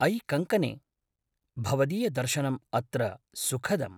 अयि कङ्कने! भवदीयदर्शनम् अत्र सुखदम्।